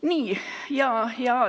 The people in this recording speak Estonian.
Nii.